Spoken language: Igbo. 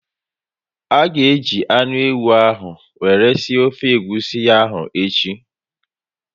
A ga eji anụ ewu ahụ were sie ofe egwusi ahụ echi